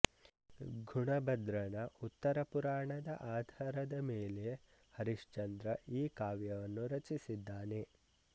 ಗುಣಭದ್ರನ ಉತ್ತರಪುರಾಣದ ಆಧಾರದ ಮೇಲೆ ಹರಿಚಂದ್ರ ಈ ಕಾವ್ಯವನ್ನು ರಚಿಸಿದ್ದಾನೆ